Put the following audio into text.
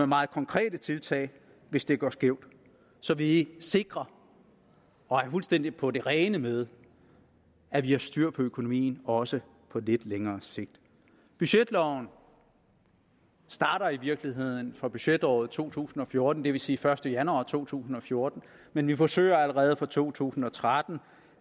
meget konkrete tiltag hvis det går skævt så vi sikrer og er fuldstændig på det rene med at vi har styr på økonomien også på lidt længere sigt budgetloven starter i virkeligheden fra budgetåret to tusind og fjorten det vil sige den første januar to tusind og fjorten men vi forsøger allerede fra to tusind og tretten